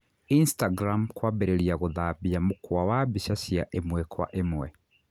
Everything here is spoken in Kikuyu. Instagram kwambĩrĩria gũtambia mũkwa wa mbica cia ĩmwe kwa ĩmwe